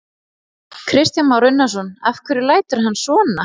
Kristján Már Unnarsson: Af hverju lætur hann svona?